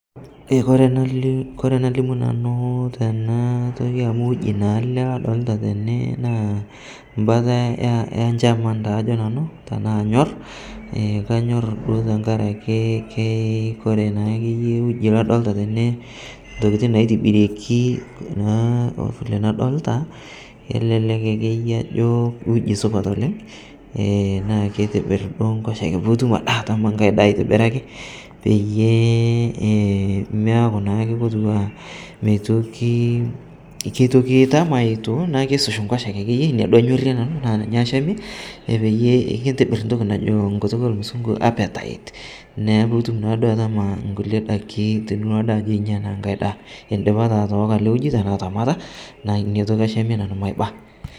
Kore nalee kore nalimu nanu tanaa toki amu uji naa ale ladolita tene naa mbata enchaman taa ajo nanuu tanaa anyor ekanyor duo tankarakee ke koree naakeye uji ladolitaa tene ntokitin naitibirieki naa vile nadolita kelelek akeye ajo uji supat oleng' enaa keitibir duo nkosheke puutum adee atama ng'ai daa aitibiraki peiye emeaku naake kotuwaa meitoki, keitoki itama etuu naaku keusush nkiosheke akeye inia duo anyorie nanu naa ninye achamie peyie keitibir ntoki najo nkutuk elmusungu appetite, neaku pitum naaduo atama nkulie dakii tinilo adee ajo inyaa ng'ai daa indipa taa atooko ale uji. tanaa atamata naa inia toki achamie nanuu maiba.